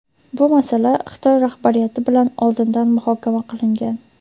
bu masala Xitoy rahbariyati bilan oldindan muhokama qilingan.